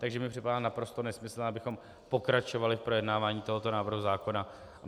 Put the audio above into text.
Takže mi připadá naprosto nesmyslné, abychom pokračovali v projednávání tohoto návrhu zákona.